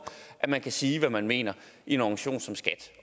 at man kan sige hvad man mener i en organisation som skat